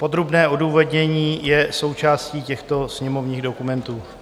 Podrobné odůvodnění je součástí těchto sněmovních dokumentů.